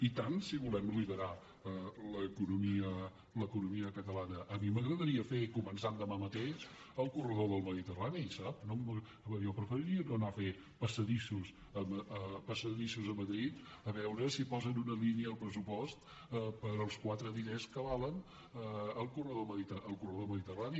i tant si volem liderar l’economia catalana a mi m’agradaria fer començant demà mateix el corredor del mediterrani sap jo preferiria no anar a fer passadissos a madrid a veure si posen una línia al pressupost per als quatre diners que val el corredor mediterrani